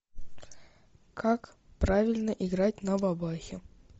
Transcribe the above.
как правильно играть на бабахе